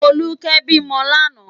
Foluke bi mò làná